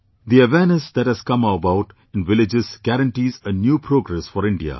The awareness that has come about in villages guarantees a new progress for India